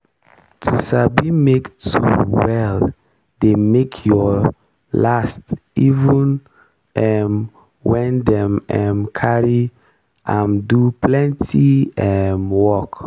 to sabi make tool well dey make your last even um when dem um carry am do plenty um work.